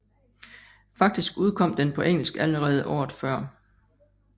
Faktisk udkom den på engelsk allerede året før